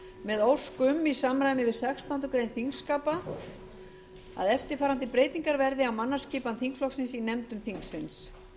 með ósk um í samræmi við sextándu grein þingskapa að eftirfarandi breytingar verði á mannaskipan þingflokksins í nefndum þingsins